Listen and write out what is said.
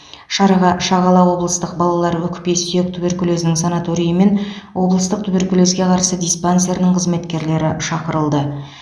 шараға шағала облыстық балалар өкпе сүйек туберкулезінің санаторийі мен облыстық туберкулезге қарсы диспансерінің қызметкерлері шақырылды